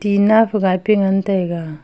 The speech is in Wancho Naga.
tina phagai pe ngan taiga.